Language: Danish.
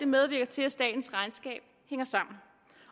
medvirker til at statens regnskab hænger sammen